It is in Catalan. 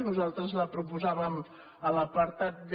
nosaltres la proposàvem a l’apartat b